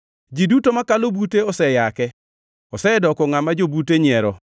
Ji duto makalo bute oseyake; osedoko ngʼama jobute nyiero.